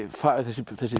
þessi